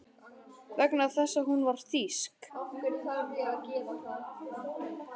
Vegna þess að hún var þýsk.